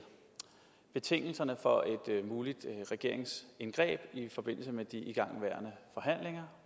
betingelserne for et muligt regeringsindgreb i forbindelse med de igangværende forhandlinger